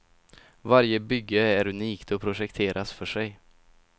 Varje bygge är unikt och projekteras för sig.